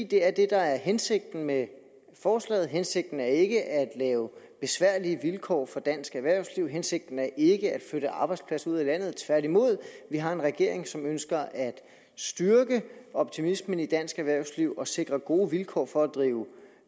det er det der er hensigten med forslaget hensigten er ikke at lave besværlige vilkår for dansk erhvervsliv hensigten er ikke at flytte arbejdspladser ud af landet tværtimod vi har en regering som ønsker at styrke optimismen i dansk erhvervsliv og sikre gode vilkår for at drive